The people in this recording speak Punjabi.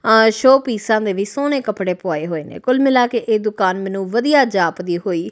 ਆਂ ਸ਼ੋ ਪੀਸਾਂ ਦੇ ਵੀ ਸੋਹਣੇ ਕੱਪੜੇ ਪੁਆਏ ਹੋਏ ਨੇ ਕੁੱਲ ਮਿਲਾ ਕੇ ਇਹ ਦੁਕਾਨ ਮੈਨੂੰ ਵਧੀਆ ਜਾਪਦੀ ਹੋਈ--